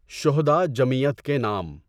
شھداء جمعیت کے نام